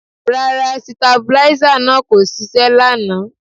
Rárá sitabuláísà náà kò ṣiṣẹ́ lánàá